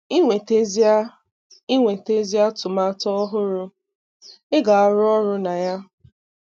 Ị nwetazia Ị nwetazia atụmatụ ọhụrụ ị ga-arụ ọrụ na ya.